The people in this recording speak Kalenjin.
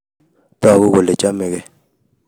tagu kole chamegei